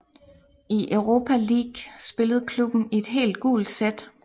I Europa League spillede klubben i et helt gult sæt